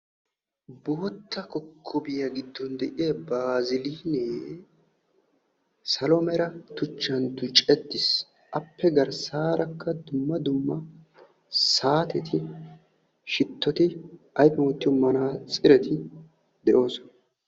Kumetta kokkobbiya matan de'iya baazzilinne salo meran tuchchan tucceettiis. A matan dumma dumma buquratti de'osonna.